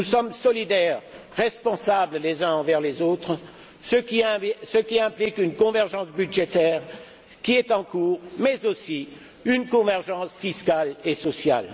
Nous sommes solidaires, responsables les uns envers les autres, ce qui implique une convergence budgétaire, qui est en cours, mais aussi une convergence fiscale et sociale.